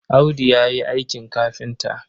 Audu ya yi aikin kafinta.